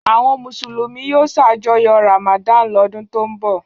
Àwọn Mùsùlùmí yóò ṣàjọyọ̀ Ramadan lọ́dún tó ń bọ̀.